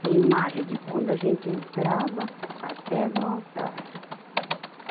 Tinha imagem de quando a gente entrava até no altar.